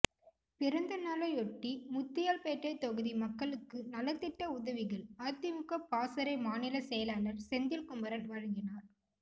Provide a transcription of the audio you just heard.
பிறந்தநாளையொட்டி முத்தியால்பேட்டை தொகுதி மக்களுக்கு நலத்திட்ட உதவிகள் அதிமுக பாசறை மாநில செயலாளர் செந்தில்குமரன் வழங்கினார்